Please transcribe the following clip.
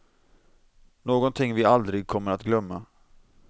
Någonting vi aldrig kommer att glömma.